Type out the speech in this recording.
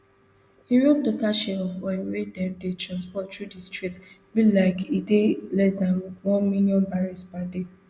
europe total share of oil wey dem dey transport through di strait be like e dey less dan one million barrels per day